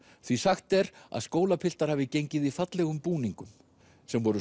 því sagt er að skólapiltar hafi gengið í fallegum búningum sem voru